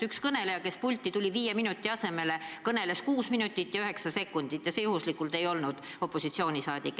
Üks kõneleja, kes pulti tuli, kõneles viie minuti asemel kuus minutit ja üheksa sekundit, ja see juhuslikult ei olnud opositsioonisaadik.